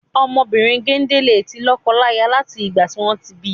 Ọmọ obìrin gende le ti lọ́kọ láyà lati igba tí wọn ti bi.